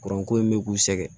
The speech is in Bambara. Kuranko in bɛ k'u sɛgɛn